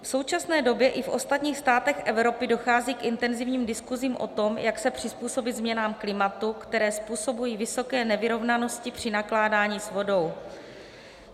V současné době i v ostatních státech Evropy dochází k intenzivním diskusím o tom, jak se přizpůsobit změnám klimatu, které způsobují vysoké nevyrovnanosti při nakládání s vodou.